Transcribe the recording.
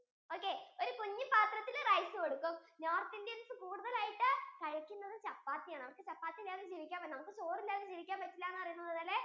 okay ഒരു കുഞ്ഞു പാത്രത്തിൽ rice കൊടുക്കും north Indians കൂടുതൽ ആയിട്ട് കഴിക്കുന്നത് chappathi ആണ് അവർക്കു chappathi ഇല്ലാതെ ജീവിക്കാൻ പറ്റില്ല നമുക്കു ചോറ് ഇല്ലാതെ ജീവിക്കാൻ പറ്റില്ല എന്ന് പറയുന്നത് പോലെ